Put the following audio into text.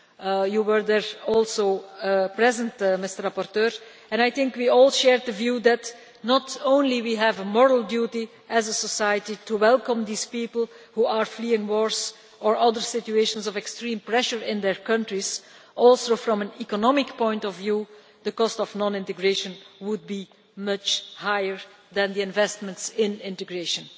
The rapporteur was also present there. I think we all share the view that, not only do we have a moral duty as a society to welcome these people who are fleeing wars or other situations of extreme pressure in their countries, but also, from an economic point of view, the cost of non integration would be much higher than the investments in integration.